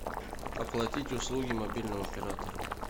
оплатить услуги мобильного оператора